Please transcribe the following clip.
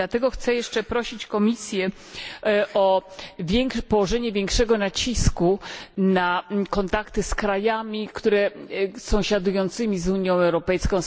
Dlatego też chcę jeszcze prosić Komisję o położenie większego nacisku na kontakty z krajami sąsiadującymi z Unią Europejską.